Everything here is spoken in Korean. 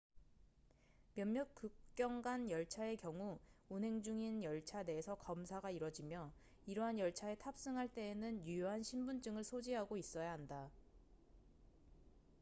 몇몇 국경 간 열차의 경우 운행 중인 열차 내에서 검사가 이뤄지며 이러한 열차에 탑승할 때에는 유효한 신분증을 소지하고 있어야 한다